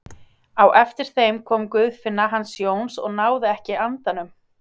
Á eftir þeim kom Guðfinna hans Jóns og náði ekki andanum.